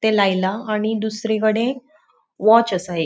ते लायला आणि दुसरीकडे वॉच आसा एक.